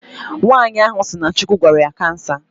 Nwaanyi ahụ si na Chukwu gwọrọ ya cancer